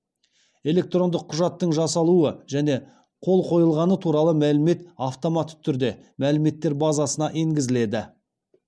электрондық құжаттың жасалуы және қол қойылғаны туралы мәлімет автомат түрде мәліметтер базасына енгізіледі